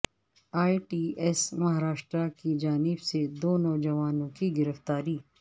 اے T S Maharashtra کی جانب سے دو نوجوانوں کی گرفتاری